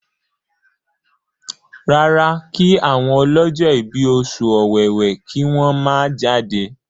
rárá kí àwọn ọlọjọ ibí Oṣù Ọ̀wẹwẹ kí wón má jáde.